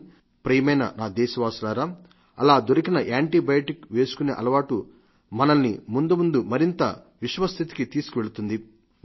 కానీ ప్రియమైన నా దేశవాసులారా అలా దొరికిన యాంటీబయాటిక్ వేసుకునే అలవాటు మనల్ని ముందుముందు మరింత విషమ స్థితికి తీసుకువెళుతుంది